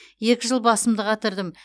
екі жыл басымды қатырдым